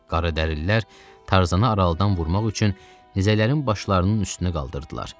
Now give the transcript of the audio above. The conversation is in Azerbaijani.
Qaradərililər Tarzanı aralıdan vurmaq üçün nizələrin başlarının üstünə qaldırdılar.